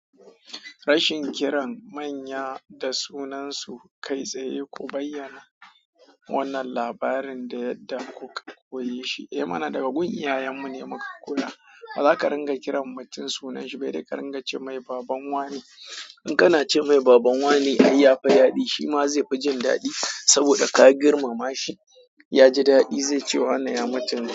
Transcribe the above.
Rashin kiran manya da sunansu kai tsaye ku bayyana wannan labarin da yadda kuka koyi shi. Eh mana daga gun iyayen mu ne muka koya. Ba za ka ringa kiran mutum sunanshi ba, idan ka ringa ce "mai baban wa ne". In kana ce me baban wane ai ya fi dadi. Shi ma zai fi jin dadi saboda ka girmama shi. Ya ji daɗi, zai ce wane ya macen.